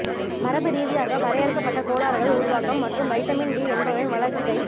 மரபு ரீதியாக வரையறுக்கப்பட்ட கோளாறுகள் உருவாக்கம் மற்றும் வைட்டமின் டி என்பவரின் வளர்சிதை